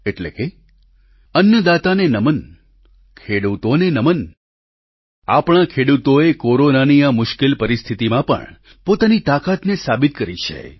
એટલે કે અન્નદાતાને નમન ખેડૂતોને નમન આપણા ખેડૂતોએ કોરોનાની આ મુશ્કેલ પરિસ્થિતીમાં પણ પોતાની તાકાતને સાબિત કરી છે